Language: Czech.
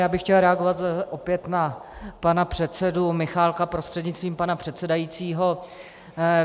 Já bych chtěl reagovat opět na pana předsedu Michálka prostřednictvím pana předsedajícího.